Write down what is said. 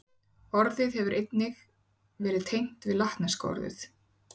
Orðið hefur einnig verið tengt við latneska orðið